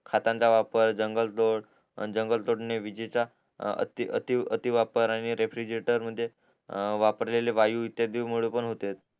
खाताचा वापर जंगल फ्रॉत अन जंगल फ्लोट ने विझेचा अतिवापर आणि रेफ्रेजरेटर म्हणजे वापरलेले वायू इत्यादींन मुळे पण होते